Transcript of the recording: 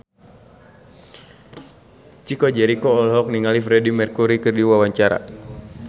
Chico Jericho olohok ningali Freedie Mercury keur diwawancara